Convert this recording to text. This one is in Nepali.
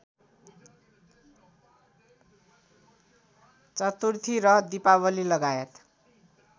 चतुर्थी र दिपावलीलगायत